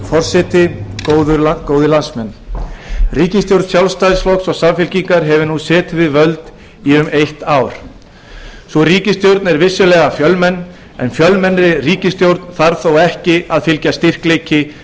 forseti ríkisstjórn sjálfstæðisflokks og samfylkingar fagnar nú um þessar mundir eins árs afmæli sínu sú ríkisstjórn er vissulega stór en fjölmenn ríkisstjórn þarf þó ekki að þýða styrkleika